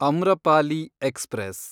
Amrapali express